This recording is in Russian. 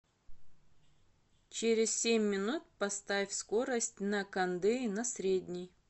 через семь минут поставь скорость на кондее на средний